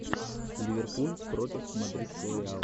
ливерпуль против мадридского реала